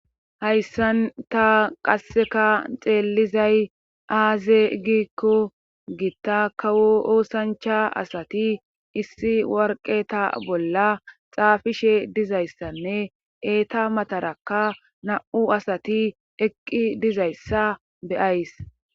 hayssanta qasseka xeellizay aaze giikko gitta kawo oosancha asati issi warqeta bolla xaafishe dizayssanne eeta matarakka na7u asati eqqi dizayssa be'ays